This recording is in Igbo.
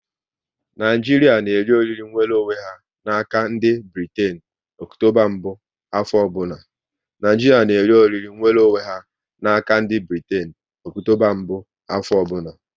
Naịjiria n'eri oriri nwere onwe ha n'aka ndị Britain Ọktoba mbụ afọ ọbụla